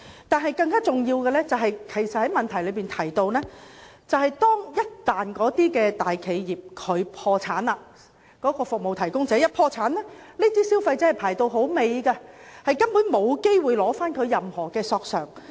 但是，更重要的是，也是我在質詢中提到的，便是服務提供者一旦破產，消費者索償的次序會放在其他債權人之後，根本沒機會取回任何索償。